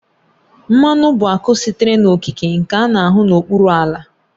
Mmanụ bụ akụ sitere n'okike nke a na-ahụ n'okpuru ala